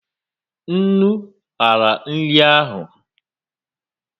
Ńnú ñyara nri ahu